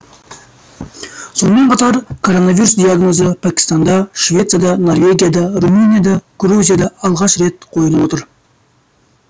сонымен қатар коронавирус диагнозы пәкістанда швецияда норвегияда румынияда грузияда алғаш рет қойылып отыр